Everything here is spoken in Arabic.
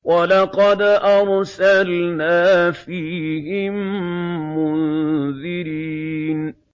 وَلَقَدْ أَرْسَلْنَا فِيهِم مُّنذِرِينَ